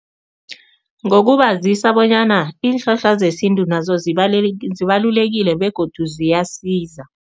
Ngokubazisa bonyana iinhlahla zesintu nazo zibalulekile begodu ziyasiza.